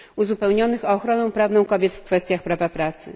uzupełnionych o ochronę prawną kobiet w kwestiach prawa pracy?